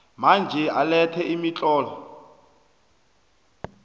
manje alethe imitlolo